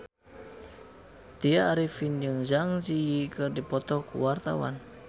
Tya Arifin jeung Zang Zi Yi keur dipoto ku wartawan